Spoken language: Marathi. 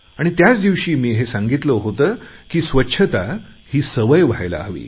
आणि त्याच दिवशी मी सांगितले होते की स्वच्छता ही सवय व्हायला हवी